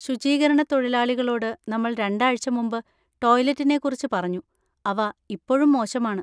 ശുചീകരണത്തൊഴിലാളികളോട് നമ്മൾ രണ്ടാഴ്ച മുമ്പ് ടോയ്‌ലറ്റിനെക്കുറിച്ച് പറഞ്ഞു, അവ ഇപ്പോഴും മോശമാണ്.